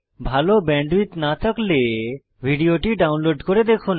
ভাল ব্যান্ডউইডথ না থাকলে ভিডিওটি ডাউনলোড করে দেখুন